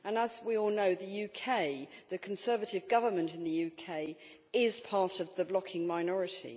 As we all know, the Conservative Government in the UK is part of the blocking minority.